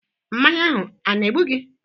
Mmanya ahụ a na-egbu gi?